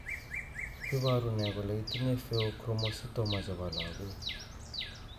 iporu ne kole itinye Pheochromocytoma chepo lagok